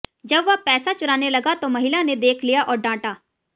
जब वह पैसा चुराने लगा तो महिला ने देख लिया और डाटा